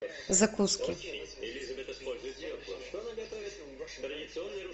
закуски